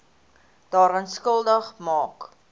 daaraan skuldig maak